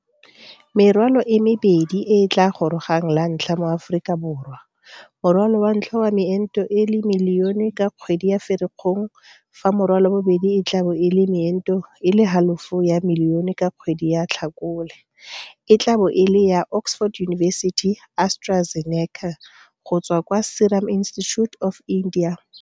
Merwalo e mebedi e e tla gorogang lantlha mo Aforika Borwa morwalo wa ntlha wa meento e le milione ka kgwedi ya Firikgong fa morwalo wa bobedi e tla bo e le meento e le halofo ya milione ka kgwedi ya Tlhakole e tla bo e le ya Oxford University-AstraZeneca go tswa kwa Serum Institute of India.